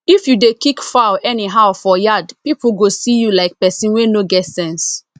if you dey kick fowl anyhow for yard people go see you like person wey no get sense